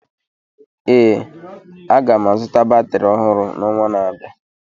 Ee, aga m azụta batrị ọhụrụ n'ọnwa na-abịa